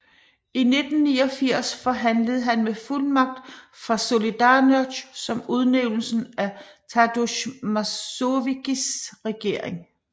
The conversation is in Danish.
I 1989 forhandlede han med fuldmagt fra Solidarność om udnævnelsen af Tadeusz Mazowieckis regering